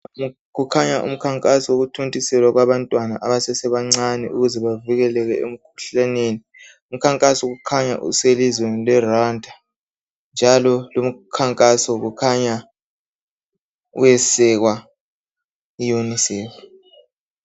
Kukhanya umkhankaso wokuthontiselwa kwabantwana abase sebancane ukuze bavikeleke emkhuhlaneni umkhankaso kukhanya uselizweni le Rwanda njalo lumkhankaso kukhanya uyesekwa yi UNICEF.